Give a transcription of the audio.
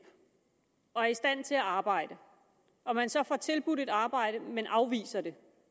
og er i stand til at arbejde og man så får tilbudt et arbejde men afviser det